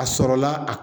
A sɔrɔla a